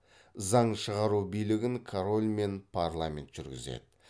заң шығару билігін король мен парламент жүргізеді